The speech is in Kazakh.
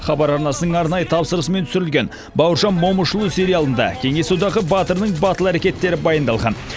хабар арнасының арнайы тапсырысымен түсірілген бауыржан момышұлы сериалында кеңес одағы батырының батыл әрекеттері баяндалған